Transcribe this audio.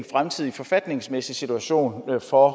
fremtidige forfatningsmæssige situation for